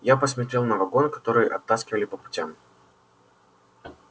я посмотрел на вагон который оттаскивали по путям